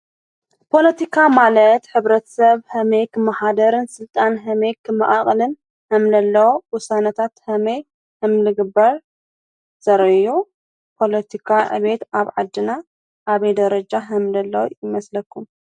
ፖሎቲካ ማለት ኅብረት ሰብ ሕሜይክ መሓደርን ሥልጣን ሕሜይክ መኣቕልን ሕምለለዎ ውሳነታት ኸመይ ሕምልግበር ዘረዮ ጶሎቲካ እቤት ኣብ ዓድና ኣብ ደረጃ ሕምለለዉ ይመስለኩም?